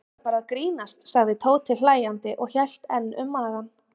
Ég var bara að grínast sagði Tóti hlæjandi og hélt enn um magann.